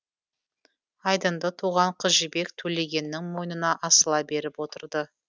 айдынды туған қыз жібек төлегеннің мойнына асыла барып отырды